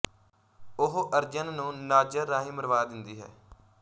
ਉਹ ਅਰਜਨ ਨੂੰ ਨਾਜਰ ਰਾਹੀਂ ਮਰਵਾ ਦਿੰਦੀ ਹੈ